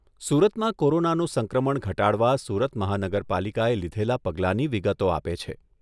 સુરતમાં કોરોનાનો સંક્રમણ ઘટાડવા સુરત મહાનગરપાલિકાએ લીધેલા પગલાની વિગતો આપે છે.